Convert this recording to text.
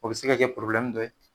O bɛ se ka kɛ dɔ ye